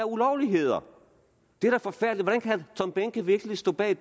ulovligheder det er da forfærdeligt hvordan kan tom behnke virkelig stå bag